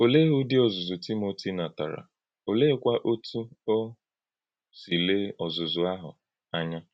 Ọ̀lee ụdị ọzụ́zụ́ Tímótì nàtárà, ọ̀leékwa otú ọ́ sị lee ọzụ́zụ́ ahụ ànyà?